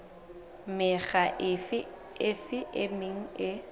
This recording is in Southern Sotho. mekga efe e meng e